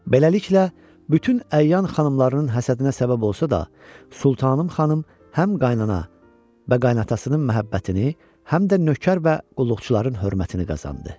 Beləliklə, bütün əyan xanımlarının həsədinə səbəb olsa da, Sultanım xanım həm qaynana və qaynatasının məhəbbətini, həm də nökər və qulluqçuların hörmətini qazandı.